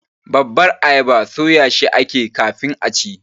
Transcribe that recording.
babbar ayaba soyashi ake yi kafin a ci.